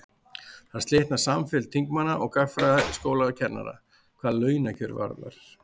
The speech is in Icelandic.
þar slitnar samfylgd þingmanna og gagnfræðaskólakennara hvað launakjör varðar